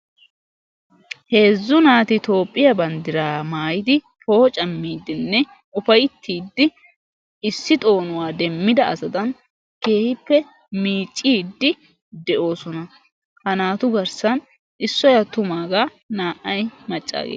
heezzu naati toophiya banddiraa maayyidi ufaytiidinne poocamiidi issippe keehippe miiciidi de'oosona. ha naayu garsan issoy attumaagaa naa"ay maccaageeta.